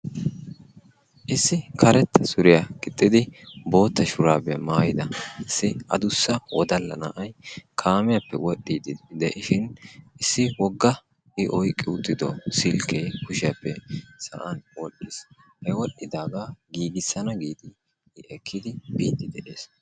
Issi karetta suriyaa giixxidi bootta shuraabiyaa maayida issi adussa wodalla na'ay kaamiyaappe wol"idi dee"ishin issi woogga i oyqqi uttido silkkee kushshiyaappe sa'an wodhdhiis. He wodhidaagaa giigassana giidi ekkidi biidi de'ees.